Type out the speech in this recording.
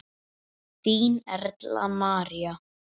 Þín, Erla María.